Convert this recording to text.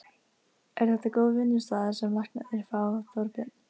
Er þetta góð vinnuaðstaða sem læknarnir fá, Þorbjörn?